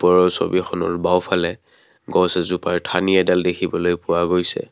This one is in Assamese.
ওপৰৰ ছবিখনৰ বাওঁফালে গছ এজোপাৰ ঠানি এডাল দেখিবলৈ পোৱা গৈছে।